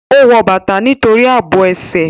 Ó wọ bàtà nítorí àbò ẹsẹ̀